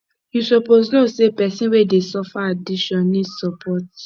you suppose know sey pesin wey dey suffer addiction need support